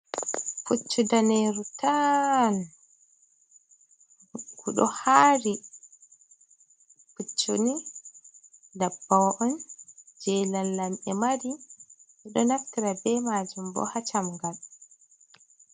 Puccu daneru tal nguɗo hari. Puccuni ɗum ndabbawa’on je lamlamɓe mari. Ɗum ɗo naftara be majum bo ha chamngal.